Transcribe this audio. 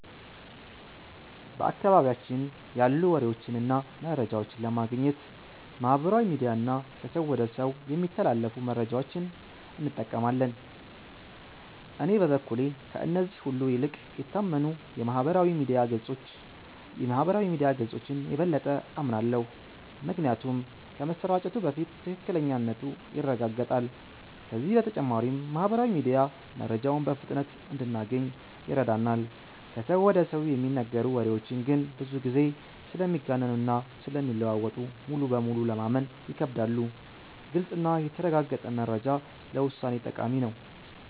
በአካባቢያችን ያሉ ወሬዎችን እና መረጃዎችን ለማግኘት ማህበራዊ ሚዲያ እና ከሰው ወደ ሰው የሚተላለፉ መረጃዎችን እንጠቀማለን። እኔ በበኩሌ ከእነዚህ ሁሉ ይልቅ የታመኑ የማህበራዊ ሚዲያ ገጾችን የበለጠ አምናለሁ። ምክንያቱም ከመሰራጨቱ በፊት ትክክለኛነቱ ይረጋገጣል፤ ከዚህ በተጨማሪም ማህበራዊ ሚዲያ መረጃውን በፍጥነት እንድናገኝ ይረዳናል። ከሰው ወደ ሰው የሚነገሩ ወሬዎች ግን ብዙ ጊዜ ስለሚጋነኑ እና ስለሚለዋወጡ ሙሉ በሙሉ ለማመን ይከብዳሉ። ግልጽ እና የተረጋገጠ መረጃ ለውሳኔ ጠቃሚ ነው።